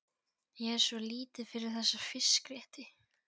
Ég er svo lítið fyrir þessa fiskrétti.